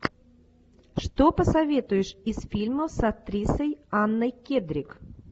что посоветуешь из фильмов с актрисой анной кендрик